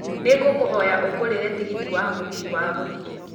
nĩ ngũkũhoya ũngũrĩre tigiti wa mũgithi wa gũthiĩ